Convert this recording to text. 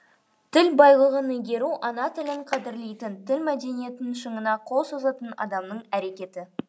тіл байлығын игеру ана тілін қадырлейтін тіл мәдениетінің шыңына қол созатын адамның әрекеті